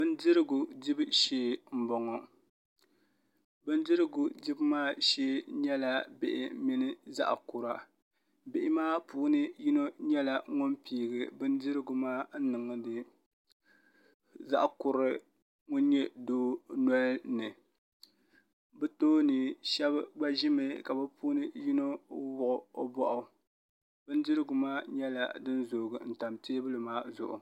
Bindirigu dibu shee n boŋo bindirigu dibu maa shee nyɛla bihi mini zaɣ kura bihi maa puuni yino nyɛla ŋun piigi bindirigu maa n niŋdi zaɣ kurili ŋun nyɛ doo nolini bi tooni shab gba ʒimi ka bi puuni yino wuhi o boɣu bindirigu maa nyɛla din zoogi tam teebuli maa zuɣu